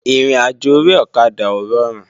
Ìrìnàjò orí ọ̀kadà ò rọrùn